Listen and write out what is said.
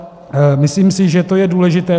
Myslím si, že to je důležité.